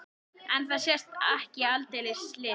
En það sé ekki aldeilis list.